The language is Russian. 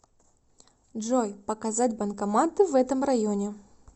джой показать банкоматы в этом районе